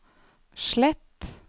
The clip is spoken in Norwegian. slett